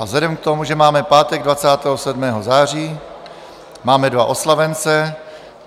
A vzhledem k tomu, že máme pátek 27. září, máme dva oslavence.